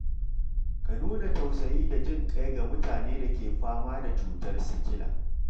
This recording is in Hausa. Ka nuna tausayi da jin ƙai ga mutanen da ke fama da cutar sikila.